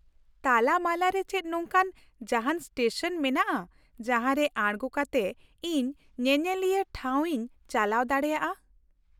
ᱛᱟᱞᱟ ᱢᱟᱞᱟ ᱨᱮ ᱪᱮᱫ ᱱᱚᱝᱠᱟᱱ ᱡᱟᱦᱟᱱ ᱥᱴᱮᱥᱚᱱ ᱢᱮᱱᱟᱜᱼᱟ ᱡᱟᱦᱟᱸᱨᱮ ᱟᱲᱜᱚ ᱠᱟᱛᱮ ᱤᱧ ᱧᱮᱧᱮᱞᱤᱭᱟᱹ ᱴᱷᱟᱶ ᱤᱧ ᱪᱟᱞᱟᱣ ᱫᱟᱲᱮᱭᱟᱜᱼᱟ ?